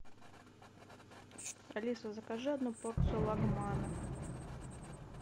алиса закажи одну порцию лагмана